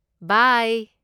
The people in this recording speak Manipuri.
ꯕꯥꯏ!